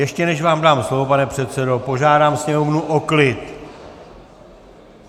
Ještě než vám dám slovo, pane předsedo, požádám sněmovnu o klid!